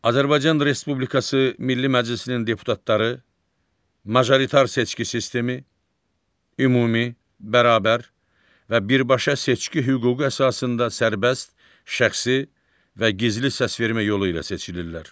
Azərbaycan Respublikası Milli Məclisinin deputatları, majoritar seçki sistemi, ümumi, bərabər və birbaşa seçki hüququ əsasında sərbəst, şəxsi və gizli səsvermə yolu ilə seçilirlər.